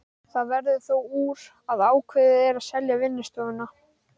Það verður þó úr að ákveðið er að selja vinnustofuna.